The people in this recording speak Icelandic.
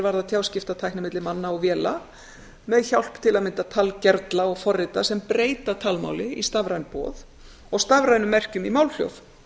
varðar tjáskiptatæki milli manna og véla með hjálp til að mynda talgervla og forrita sem breyta talmáli í stafræn boð og stafrænum merkjum í málhljóð